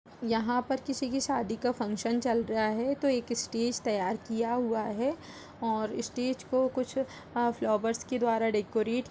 यहाँ पर किसी की शादी का फंक्शन चल रहा है तो एक स्टेज तैयार किया हुआ है और स्टेज को कुछ फ्लावर्स के द्वारा डेकोरेट --